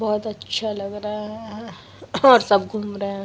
बहुत अच्छा लग रहा है और सब घूम रहे है ।